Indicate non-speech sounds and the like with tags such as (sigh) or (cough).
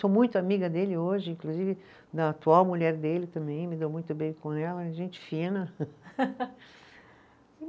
Sou muito amiga dele hoje, inclusive da atual mulher dele também, me dou muito bem com ela, gente fina. (laughs)